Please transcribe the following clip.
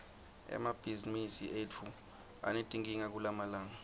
emabhizimisi etfu anetinkinga kulamalanga